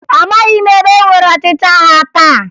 Amaghị m ebe enwere ọchịchị agha taa